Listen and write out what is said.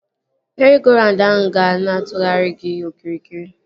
Meri-go-raund ahụ ga na-atụgharị gị okirikiri